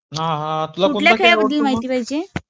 कुठल्या खेळाबद्दल माहिती पाहिजे?